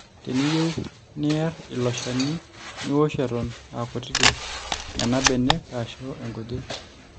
teniyiou neer ilo shani niosh eton aakutitik nena benek aashu kujit